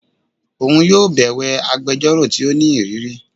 Oun yóò bẹwẹ agbẹjọro ti o ni iriri